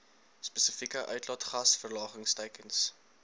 spesifieke uitlaatgas verlagingsteikens